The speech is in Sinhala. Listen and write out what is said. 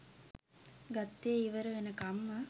ගත්තේ ඉවර වෙනකම්ම